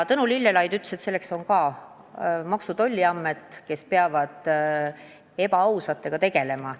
Tõnu Lillelaid ütles, et selleks on meil Maksu- ja Tolliamet, kes peab ebaausatega tegelema.